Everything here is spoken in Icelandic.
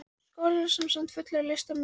Skólinn var sem sagt fullur af listamönnum.